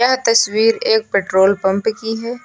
यह तस्वीर एक पेट्रोल पंप की है।